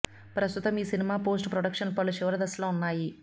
ప్రస్తుతం ఈ cinema post production పనులు చివరిదశలో ఉన్నాయి